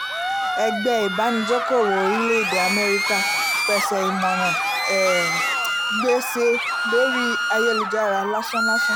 ẹgbẹ́ ìbànújẹ̀kòwó orílẹ̀-èdè amẹ́ríkà pèsè ìmọ̀ràn um gbèsè lórí ayélujára lásán-làsán